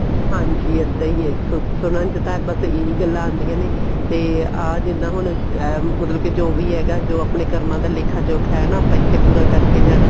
ਹਾਂਜੀ ਇੱਦਾਂ ਹੀ ਹੈ ਸੁਣਨ ਚ ਤਾਂ ਬੱਸ ਇਹੀ ਗੱਲਾਂ ਆਉਂਦੀਆਂ ਨੇ ਤੇ ਆਹ ਜਿੱਦਾਂ ਹੁਣ ਅਮ ਮਤਲਬ ਕੇ ਜੋ ਵੀ ਹੈਗਾ ਜੋ ਆਪਣੇ ਕਰਮਾ ਦਾ ਲੇਖਾ ਜੋਖ ਹੈ ਨਾ ਇੱਥੇ ਪੂਰਾ ਕਰਕੇ ਜਾਣਾ